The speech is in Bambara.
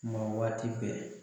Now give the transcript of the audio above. Ma waati bɛɛ.